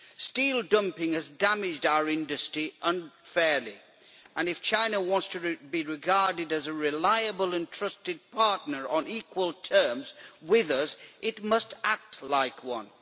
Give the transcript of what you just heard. Steel dumping has damaged our industry unfairly and if China wants to be regarded as a reliable and trusted partner on equal terms with us, it must act like one.